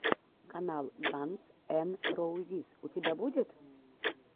канал ганз эн роузиз у тебя будет